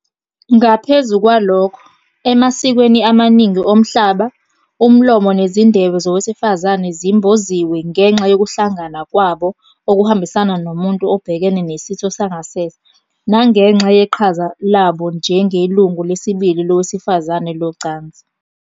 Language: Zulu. Ngaphezu kwalokho, emasikweni amaningi omhlaba, umlomo nezindebe zowesifazane zimboziwe ngenxa yokuhlangana kwabo okuhambisana nomuntu obhekene nesitho sangasese, nangenxa yeqhaza labo njengelungu lesibili lowesifazane locansi.